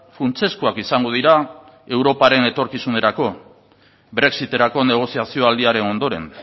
funtsezkoak izango dira europaren etorkizunerako brexiterako negoziazio aldiaren ondoren